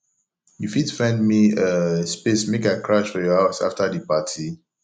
you fit find me um space make i crash for your house afta di party